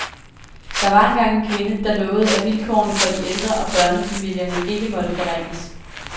Der var engang en kvinde, der lovede, at vilkårene for de ældre og børnefamilierne ikke måtte forringes.